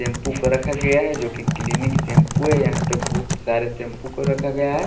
Shampoo को रखा गया है जो कि क्लीनिक शैंपू है यहां पर बहुत सारे शैंपू को रखा गया है।